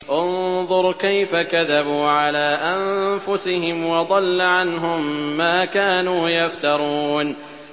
انظُرْ كَيْفَ كَذَبُوا عَلَىٰ أَنفُسِهِمْ ۚ وَضَلَّ عَنْهُم مَّا كَانُوا يَفْتَرُونَ